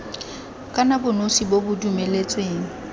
kana bonosi bo bo dumeletsweng